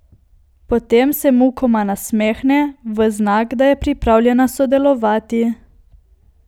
Potem se mukoma nasmehne, v znak, da je pripravljena sodelovati.